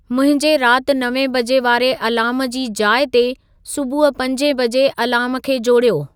मुंहिंजे राति नवें बजे वारे अलार्म जी जाइ ते सुबुह पंजे बजे अलार्म खे जोड़ियो